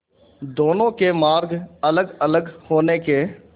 दोनों के मार्ग अलगअलग होने के